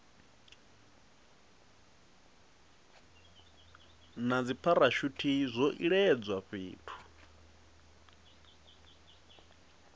na dzipharashuthi zwo iledzwa fhethu